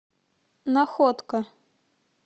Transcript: находка